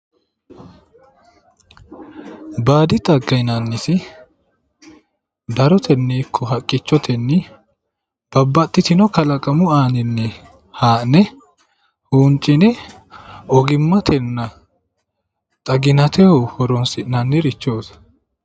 Baadi xagga yinanniti darotenni haqqichotenni babbaxxitino kalaqamu aaninni haa'ne huuncine ogimmatenna xaginateho horoonsi'nannirichooti